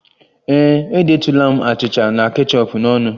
Ee e, edetụla m achịcha na kechọp n'ọnụ